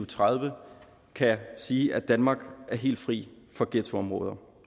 tredive kan sige at danmark er helt fri for ghettoområder